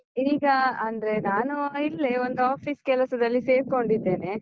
ಈಗ ಅಂದ್ರೆ, ನಾನು ಇಲ್ಲೇ ಒಂದು office ಕೆಲಸದಲ್ಲಿ ಸೇರ್ಕೊಂಡಿದ್ದೇನೆ.